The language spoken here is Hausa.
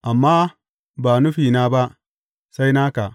Amma ba nufina ba, sai naka.